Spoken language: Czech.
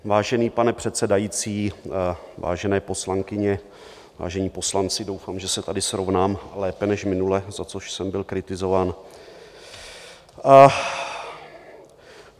Vážený pane předsedající, vážené poslankyně, vážení poslanci, doufám, že se tady srovnám lépe než minule, za což jsem byl kritizován.